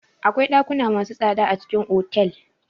Akwai ɗakuna masu tsada a cikin otal.